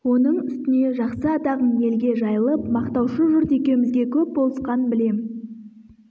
оның үстіне жақсы атағың елге жайылып мақтаушы жұрт екеумізге көп болысқан білем